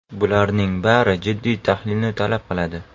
Bularning bari jiddiy tahlilni talab qiladi.